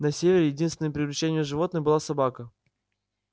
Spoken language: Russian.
на севере единственным приручённым животным была собака